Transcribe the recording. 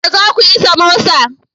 Yaushe za ku yi samosa?